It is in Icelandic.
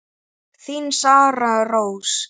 Þín Sara Rós.